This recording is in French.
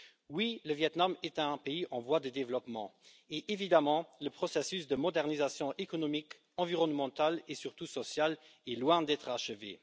Oui, le Viêt Nam est un pays en voie de développement et évidemment, le processus de modernisation économique, environnementale et surtout sociale est loin d'être achevé.